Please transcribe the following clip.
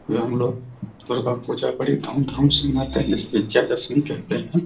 यह हमलोग पुरे भक्त पूजा बड़ी धूम धाम से मनाते है इस पिक्चर को सिन कहते हैं |